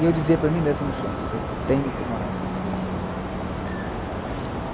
E eu dizia para mim mesmo no sonho, eu tenho que morar em São Paulo.